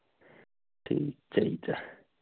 ਠੀਕ ਚਾਹੀਦਾ